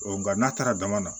nka n'a taara dama na